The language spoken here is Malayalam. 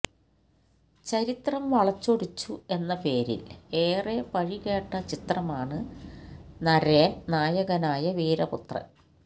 ചരിത്രം വളച്ചൊടിച്ചു എന്ന പേരില് ഏറെ പഴി കേട്ട ചിത്രമാണ് നരേന് നായകനായ വീരപുത്രന്